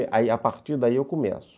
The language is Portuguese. Ai a partir daí eu começo.